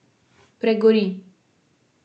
Pregori.